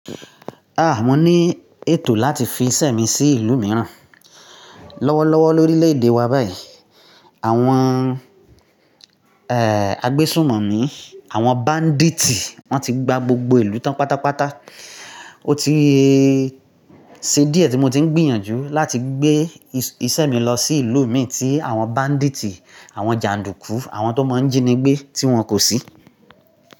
Mo ni ètò láti fi isẹ mi sí ìlú mìíràn. Lọ́wọ́lọ́wọ́ lórílèèdè wa báyìí, àwọn, agbésúnmọ̀mi ní àwọn bandit, wọ́n ti gba gbogbo ìlú tán pátápátá. O ti ṣe díẹ̀ tí mo ti ń gbìyànjú láti gbé isẹ mi lọ sí ìlú mìíràn tí àwọn bandit, àwọn jàndùkú, àwọn tó máa ń jíni gbé, tí wọn kò sí.